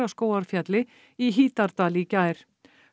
Fagraskógarfjalli í Hítardal í gær